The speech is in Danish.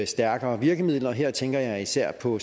stærkere virkemidler og her tænker jeg især på